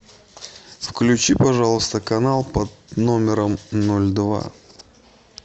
включи пожалуйста канал под номером ноль два